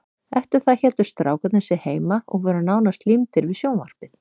Eftir það héldu strákarnir sig heima og voru nánast límdir við sjónvarpið.